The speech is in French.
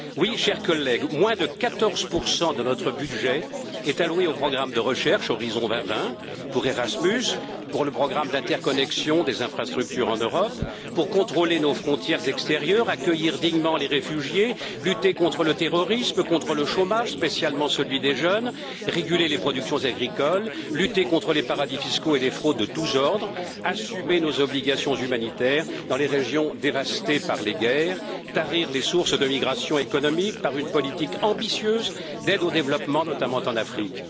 Oui, chers collègues, moins de 14 de notre budget est alloué aux programmes de recherche Horizon 2020, pour Erasmus, pour le programme d'interconnexion des infrastructures en Europe, pour contrôler nos frontières extérieures, accueillir dignement les réfugiés, lutter contre le terrorisme, contre le chômage, notamment celui des jeunes, réguler les productions agricoles, lutter contre les paradis fiscaux et les fraudes de tous ordres, assumer nos obligations humanitaires dans les régions dévastées par les guerres, tarir les sources de migration économique par une politique ambitieuse d'aide au développement, notamment en Afrique.